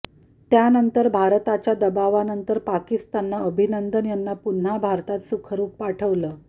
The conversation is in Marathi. त्यानंतर भारताच्या दबावनंतर पाकिस्ताननं अभिनंदन यांना पुन्हा भारतात सुखरूप पाठवलं